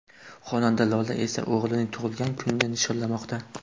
Xonanda Lola esa o‘g‘lining tug‘ilgan kunini nishonlamoqda.